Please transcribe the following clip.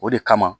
O de kama